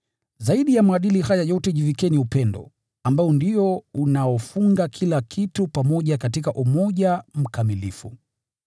Zaidi ya maadili haya yote jivikeni upendo, ambao ndio unaofunga kila kitu pamoja katika umoja mkamilifu.